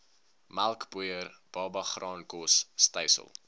melkpoeier babagraankos stysel